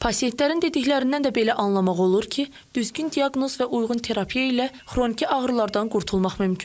Pasientlərin dediklərindən də belə anlamaq olur ki, düzgün diaqnoz və uyğun terapiya ilə xroniki ağrılardan qurtulmaq mümkündür.